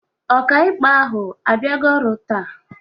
Ọkàikpe ahụ abịago ọrụ taa?